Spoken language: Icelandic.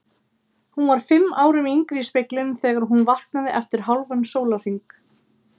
Hún var fimm árum yngri í speglinum þegar hún vaknaði eftir hálfan sólarhring.